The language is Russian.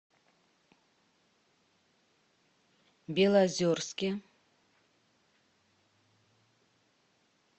белозерске